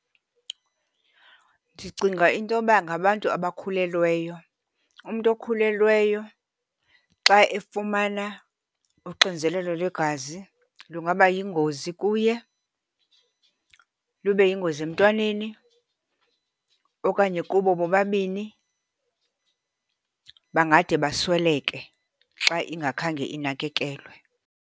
Ndicinga into yoba ngabantu abakhulelweyo. Umntu okhulelweyo xa efumana uxinzelelo lwegazi lungaba yingozi kuye, lube yingozi emntwaneni okanye kubo bobabini. Bangade basweleke xa ingakhange inakekelwe.